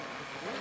Burdan çıx.